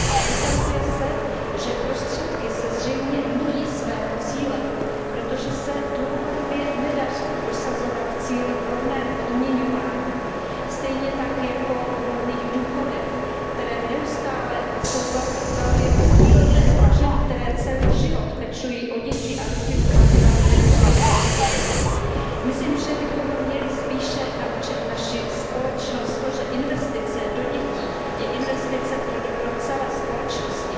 Ale ukazuje se, že prostředky zřejmě míjí své cíle, protože se dlouhodobě nedaří prosazovat cíl v rovném odměňování stejně tak jako v rovných důchodech, které neustále jsou velmi rozdílné, a ženy, které celý život pečují o děti a rodinu, pak mají nedůstojné důchody. Myslím, že bychom měli spíše naučit naši společnost to, že investice do dětí je investice pro dobro celé společnosti